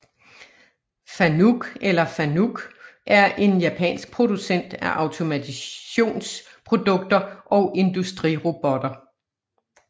FANUC eller Fanuc er en japansk producent af automationsprodukter og industrirobotter